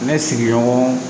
Ne sigiɲɔgɔn